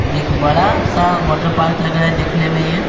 एक बड़ा सा वाटर पार्क लग रहा है देखने में ये।